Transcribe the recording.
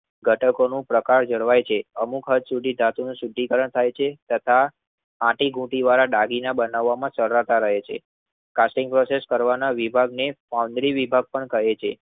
તટચનું પ્રકાર જળવાય છે. અમુક હદ સુધી ધાતુ નું શુદ્ધિ કારણ થઈ છે. તથા આતીગોતી વાળા દાગીના બનાવામાં સરવાતા રહે છે. કાર્ટિંગ વેગાસ ના વિભાગને ઓંમરી વિભાગ પણ કહે છે.